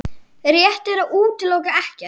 Rétt er að útiloka ekkert